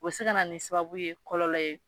O bɛ se ka na ni sababu ye kɔlɔlɔ ye